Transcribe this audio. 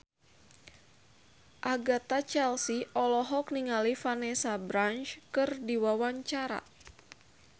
Agatha Chelsea olohok ningali Vanessa Branch keur diwawancara